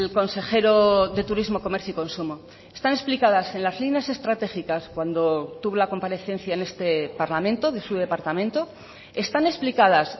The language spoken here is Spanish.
consejero de turismo comercio y consumo están explicadas en las líneas estratégicas cuando tuvo la comparecencia en este parlamento de su departamento están explicadas